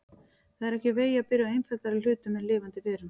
Það er ekki úr vegi að byrja á einfaldari hlutum en lifandi verum.